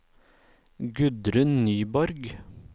Gudrun Nyborg